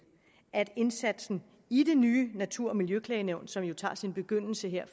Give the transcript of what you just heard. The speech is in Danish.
at indsatsen i det nye natur og miljøklagenævn som tager sin begyndelse her